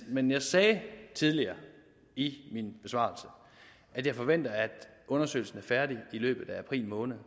men jeg sagde tidligere i min besvarelse at jeg forventer at undersøgelsen er færdig i løbet af april måned